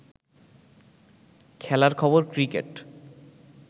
খেলার খবর ক্রিকেট